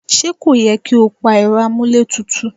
Ṣé kò yẹ kí ẹ pa Ẹ̀rọ amuletutu?